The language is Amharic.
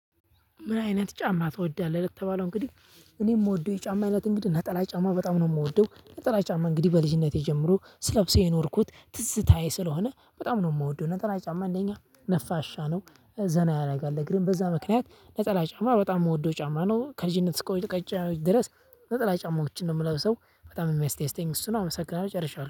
ምን አይነት ጫማ ትወዳለህ? ለተባለው እንግዲህ እኔ የምወደው የጫማ እይነት እንግዲህ ነጠላ ጫማ በጣም ነው የምወደው ነጠላ ጫማ እንግዲህ በልጅነቴ ጀምሮ ስለብሰው የኖርኩት ትዝታዬ ስለሆነ በጣም ነው የምወደው። ነጠላ ጫማ አንደኛ ነፋሻ ነው ዘና ያደርጋል እግርም በዛ ምክንያት ነጠላ ጫማ በጣም የምወደው ጫማ ነው። ከልጅነት እስከ እውቀት ድረስ ነጠላ ጫማዎችን ነው የምለብሰው። በጣም የሚያስተስተኝ እሱን አመሰግናለሁ ጨርሻለሁ